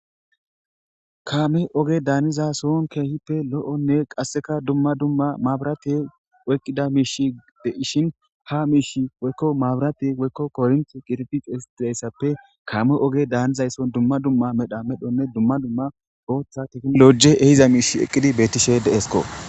kaame oge daaniza sohon keehippe lo7onne qasseka dumma dumma maaburate oyqqida miish deishin ha miish woykko maabirate woykko kornt qirifixe istilayssappe kaame oge daanizaysson dumma dumma medha medhonne dumma dumma ooththa tekmolo7je ehiza miish eqqidi beettishe deesko